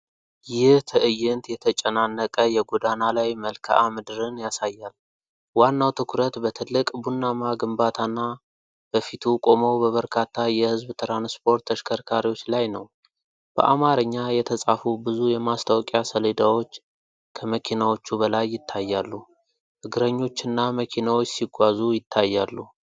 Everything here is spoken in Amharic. ይህ ትዕይንት የተጨናነቀ የጎዳና ላይ መልክዓ ምድርን ያሳያል። ዋናው ትኩረት በትልቅ ቡናማ ግንባታ እና በፊቱ ቆመው በበርካታ የህዝብ ትራንስፖርት ተሽከርካሪዎች ላይ ነው። በአማርኛ የተፃፉ ብዙ የማስታወቂያ ሰሌዳዎች ከመኪናዎቹ በላይ ይታያሉ፤ እግረኞችና መኪናዎች ሲጓዙ ይታያሉ።